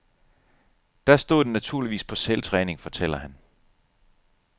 Der stod den naturligvis på selvtræning, fortæller han.